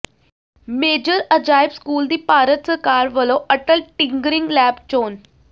major Ajaib school ਦੀ ਭਾਰਤ ਸਰਕਾਰ ਵਲੋਂ ਅਟੱਲ ਟਿੰਕਰਿੰਗ ਲੈਬ ਲਈ ਚੋਣ